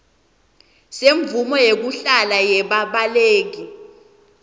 semvumo yekuhlala yebabaleki